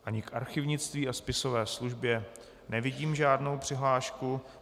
Ani k archivnictví a spisové službě nevidím žádnou přihlášku.